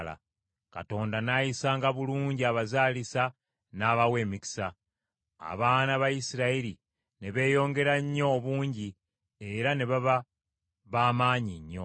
Katonda, n’ayisanga bulungi abazaalisa n’abawa emikisa. Abaana ba Isirayiri ne beeyongera nnyo obungi era ne baba ba maanyi nnyo.